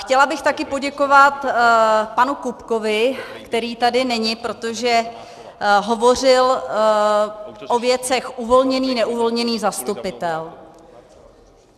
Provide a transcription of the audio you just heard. Chtěla bych taky poděkovat panu Kupkovi, který tady není, protože hovořil o věcech uvolněný, neuvolněný zastupitel.